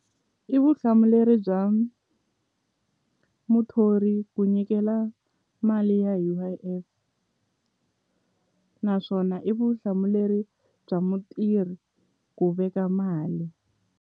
I vuhlamuleri bya muthori ku nyikela mali ya U_I_F naswona i vuhlamuleri bya mutirhi ku veka mali.